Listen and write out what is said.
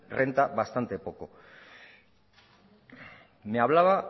renta bastante poco me hablaba